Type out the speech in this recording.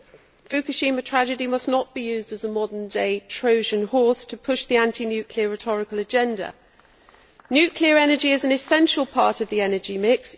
The Fukushima tragedy must not be used as a modern day Trojan horse to push the anti nuclear rhetorical agenda. Nuclear energy is an essential part of the energy mix.